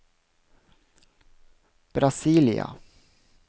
Brasília